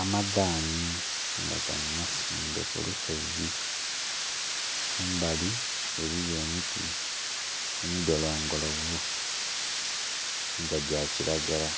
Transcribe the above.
Amadhani nga gano masimbe ku lusozi, kumbali eliyo emiti emidholongolovu nga gya kiragala